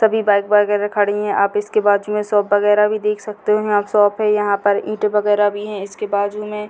सभी बाइक वगैरा खड़ी है आप इसके बाद जो है बाजू में शॉप वगैरा भी देख सकते हो यहां शॉप है यहां ईट वगैरा भी है इसके बाजू में।